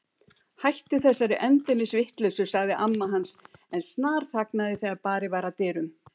Hættu þessari endemis vitleysu sagði amma hans en snarþagnaði þegar barið var að dyrum.